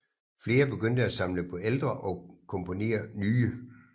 Flere begyndte at samle på ældre og komponere nye